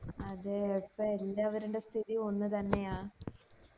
അതെ ഇപ്പൊ ന്താ അവരുടെടെ സ്ഥിതി ഒന്ന് തന്നെയാ